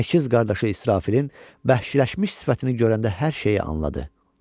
Əkiz qardaşı İsrafilin bəxşləşmiş sifətini görəndə hər şeyi anladı.